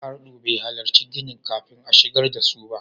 Ardo bai halarci ginin kafin a shigar da su ba.